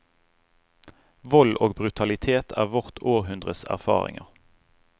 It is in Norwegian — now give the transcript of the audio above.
Vold og brutalitet er vårt århundres erfaringer.